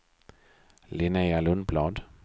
Linnéa Lundblad